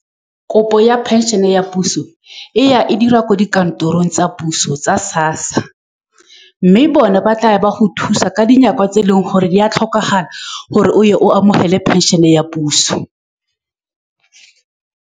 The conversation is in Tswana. Kopo ya phenšene ya puso e ya e dira ko dikantorong tsa puso tsa SASSA, mme bone ba tla go thusa ka dinako tse e leng gore di a tlhokagala gore o ye o amogele pension-e ya puso.